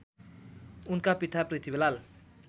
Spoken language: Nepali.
उनका पिता पृथ्वीलाल